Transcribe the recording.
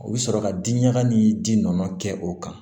U bɛ sɔrɔ ka di ɲaga ni ji nɔɔni kɛ o kan